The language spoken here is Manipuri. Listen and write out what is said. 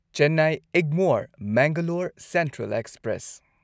Chennai Egmore Mangalore central express